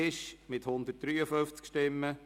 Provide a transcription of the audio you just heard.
Ueli Buri mit 153 Stimmen